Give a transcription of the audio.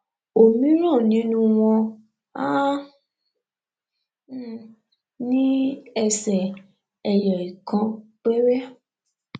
òmíràn nínú wọn á um ní ẹsè eyọ ìkan péré